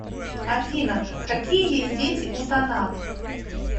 афина какие есть дети у танат